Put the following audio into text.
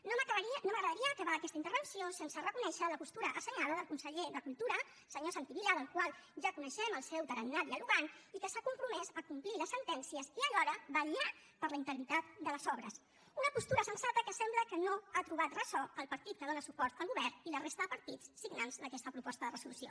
no m’agradaria acabar aquesta intervenció sense reconèixer la postura assenyada del conseller de cultura el senyor santi vila del qual ja coneixem el seu tarannà dialogant i que s’ha compromès a complir les sentències i alhora vetllar per la integritat de les obres una postura sensata que sembla que no ha trobat ressò al partit que dóna suport al govern i la resta de partits signants d’aquesta proposta de resolució